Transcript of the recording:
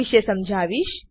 વિષે સમજાવીશ